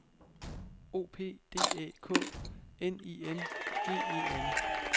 O P D Æ K N I N G E N